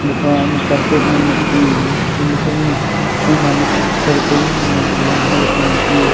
gapha ama carpet nyemley teu gama khownyak sho nanak circle ma round haley chong teu.